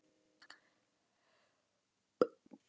Hugrún: En annars bara ánægð með allar þínar jólagjafir?